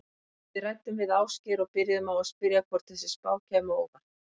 Við ræddum við Ásgeir og byrjuðum á að spyrja hvort þessi spá kæmi á óvart?